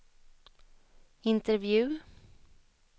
intervju